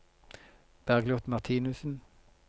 Bergliot Martinussen